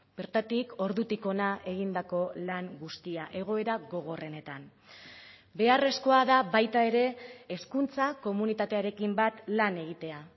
bertatik ordutik hona egindako lan guztia egoera gogorrenetan beharrezkoa da baita ere hezkuntza komunitatearekin bat lan egitea